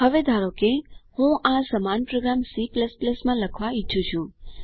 હવે ધારો કે હું આ સમાન પ્રોગ્રામ C માં લખવા ઈચ્છું છું